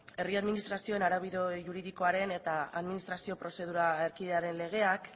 herri administrazioen araubide juridikoaren eta administrazioaren prozedura erkidearekin legeak